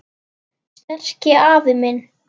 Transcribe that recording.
Sterki afi minn.